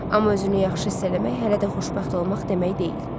Amma özünü yaxşı hiss eləmək hələ də xoşbəxt olmaq demək deyil.